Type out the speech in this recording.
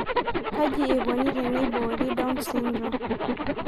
Kaji eikoni teneibori Down syndrome?